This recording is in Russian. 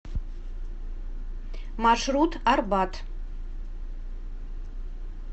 маршрут арбат